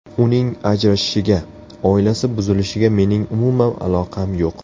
Uning ajrashishiga, oilasi buzilishiga mening umuman aloqam yo‘q.